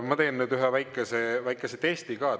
Ma teen nüüd ühe väikese väikese testi ka.